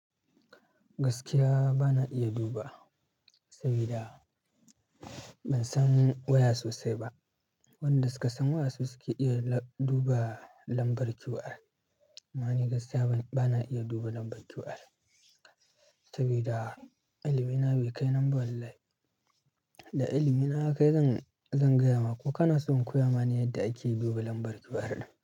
Gaskiya bana iya duba saboda ban san waya sosai ba. Waɗanda suka san waya su suke iya duba lambar QR. Amma ni gaskiya bana iya duba lambar QR saboda ilimi na bai kai nan ba wallahi. Da ilimi na yakai zan, zan gaya maku. Kana son in koya mane yadda ake duba lambar QR ɗin?